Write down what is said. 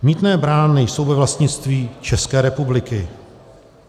Mýtné brány jsou ve vlastnictví České republiky.